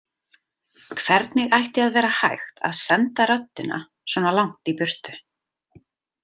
Hvernig ætti að vera hægt að senda röddina svona langt í burtu.